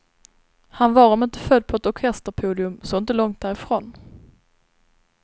Han var om inte född på ett orkesterpodium så inte långt därifrån.